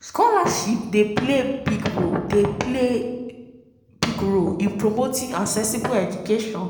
scholarship dey play big play big role in promoting accessible education